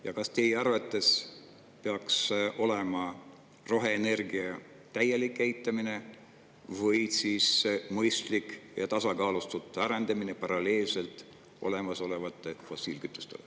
Ja kas teie arvates peaks olema roheenergia täielik eitamine või siis mõistlik ja tasakaalustatud arendamine paralleelselt olemasolevate fossiilkütustega?